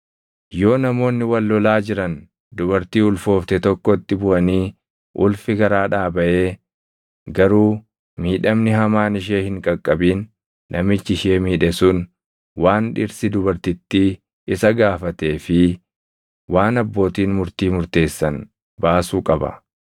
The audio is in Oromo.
“Yoo namoonni wal lolaa jiran dubartii ulfoofte tokkotti buʼanii ulfii garaadhaa baʼee garuu miidhamni hamaan ishee hin qaqqabin, namichi ishee miidhe sun waan dhirsi dubartittii isa gaafatee fi waan abbootiin murtii murteessan baasuu qaba.